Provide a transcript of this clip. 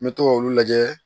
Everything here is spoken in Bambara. N bɛ to ka olu lajɛ